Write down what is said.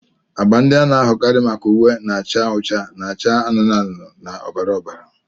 Agba ndị a na-ahụkarị maka uwe na-acha ọcha, acha anụnụ anụnụ na ọbara ọbara.